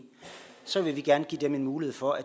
så vil vi gerne give dem en mulighed for at